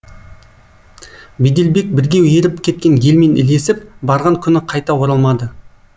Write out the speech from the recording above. беделбек бірге еріп кеткен елмен ілесіп барған күні қайта оралмады